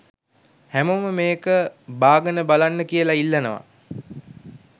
හැමෝම මේක බාගනබලන්න කියලා ඉල්ලනවා